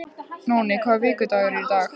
Nóni, hvaða vikudagur er í dag?